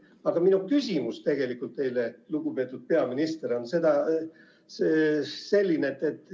Aga minu küsimus teile, lugupeetud peaminister, on selline.